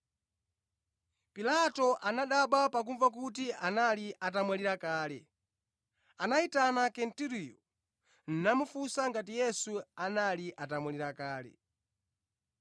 Pilato anadabwa pakumva kuti anali atamwalira kale. Anayitana Kenturiyo, namufunsa ngati Yesu anali atamwalira kale.